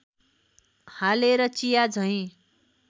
हालेर चिया झैँ